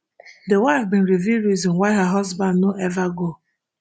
di wife bin reveal reason why her husband no ever go